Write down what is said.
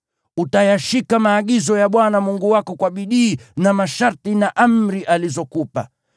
Utayashika maagizo ya Bwana Mungu wako kwa bidii, na masharti na amri alizokupa.